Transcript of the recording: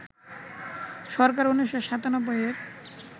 সরকার ১৯৯৭-এর